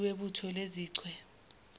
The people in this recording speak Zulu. umholi webutho lezichwe